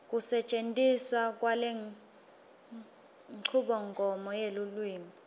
kusetjentiswa kwalenchubomgomo yelulwimi